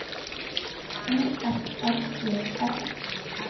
O F R E R